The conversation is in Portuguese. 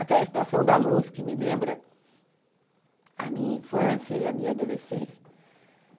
Aquela estação da luz que me lembra a minha infância e a minha adolescência.